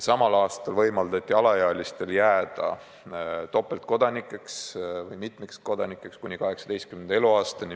Samal aastal võimaldati alaealistel jääda topeltkodanikeks või mitmikkodanikeks kuni 18. eluaastani.